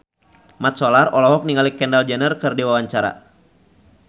Mat Solar olohok ningali Kendall Jenner keur diwawancara